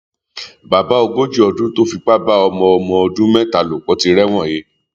bàbá ogójì ọdún tó fipá bá ọmọ ọmọ ọdún mẹta lò pọ ti rẹwọn he